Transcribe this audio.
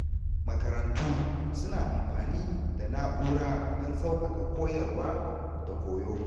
Makarantu suna amfani da na’ura don sauƙaƙa koyarwa da koyo.